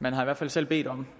man har i hvert fald selv bedt om